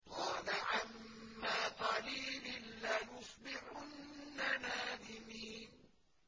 قَالَ عَمَّا قَلِيلٍ لَّيُصْبِحُنَّ نَادِمِينَ